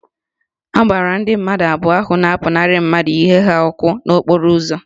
A gbara ndị mmadụ abụọ ahụ na-apụnara mmadụ ihe ha ọkụ n'okporo ụzọ